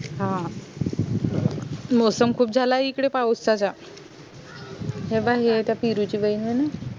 हा मौसम खूप झालाय इकडे पाऊसा चा त्या पिरु ची बहीण ये ना